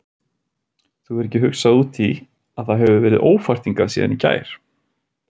Þú hefur ekki hugsað út í að það hefur verið ófært hingað síðan í gær?